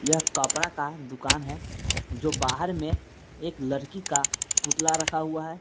यहां कपड़ा का दुकान है जो बाहर में एक लड़की का पुतला रखा हुआ है।